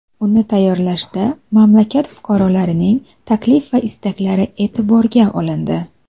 Uni tayyorlashda mamlakat fuqarolarining taklif va istaklari e’tiborga olindi.